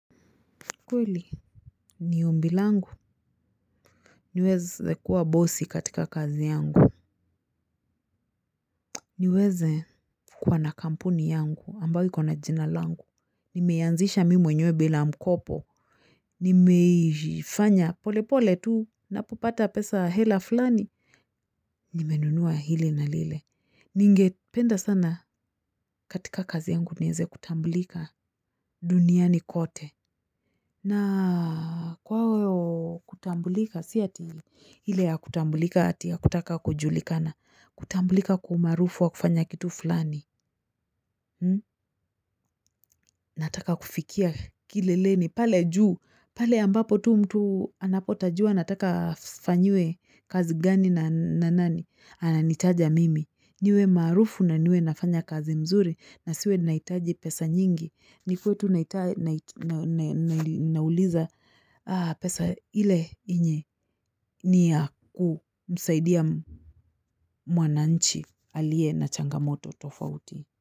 Kweli ni ombi langu niweze kuwa bosi katika kazi yangu. Niweze kuwa na kampuni yangu ambayo iko na jina langu. Nimeianzisha mimi mwenyewe bila mkopo. Nimeifanya polepole tu, ninapopata pesa hela fulani. Nimenunua hili na lile. Ningependa sana katika kazi yangu niweze kutambulika duniani kote. Na kwao kutambulika, si eti ile ya kutambulika ati ya kutaka kujulikana. Kutambulika kwa umaarufu wa kufanya kitu fulani, nataka kufikia kileleni, pale juu, pale ambapo tu mtu anapotajua nataka afanyiwe kazi gani na nani, ananitaja mimi, niwe maarufu na niwe nafanya kazi nzuri na siwe nahitaji pesa nyingi. Ni kwetu nauliza pesa ile yenye nia kumsaidia mwananchi aliye na changamoto tofauti.